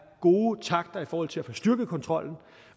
gode takter i forhold til at få styrket kontrollen